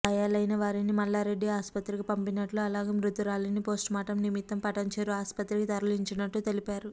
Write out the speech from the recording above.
గాయాలయిన వారిని మల్లారెడ్డి ఆసుపత్రికి పంపించినట్లు అలాగే మృతురాలిని పోస్టుమాస్ట్రమ్ నిమిత్తం పటాన్చెరు ఆసుపత్రికి తరలించినట్లు తెలిపారు